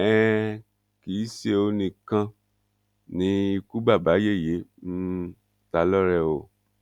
um kì í ṣe òun nìkan ni ikú babayẹyẹ um ta lọrẹ o